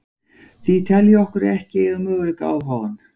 Því tel ég okkur ekki eiga möguleika á að fá hann.